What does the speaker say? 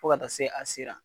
Fo ka taa se a sera.